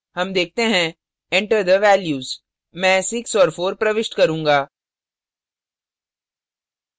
हम देखते हैं enter the values मैं 6 और 4 प्रविष्ट करूँगा